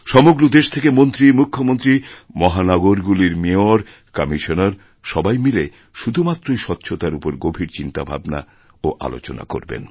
সমগ্র দেশ থেকে মন্ত্রী মুখ্যমন্ত্রী মহানগরগুলির মেয়র কমিশনার সবাই মিলেশুধুমাত্রই স্বচ্ছতার উপর গভীর চিন্তাভাবনা ও আলোচনা করবেন